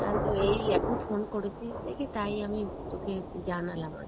তা তো এই এখন phone করেছিস দেখি তাই আমি তোকে জানালাম আর কি,